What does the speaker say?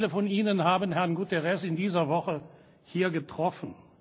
Viele von Ihnen haben Herrn Guterres in dieser Woche hier getroffen.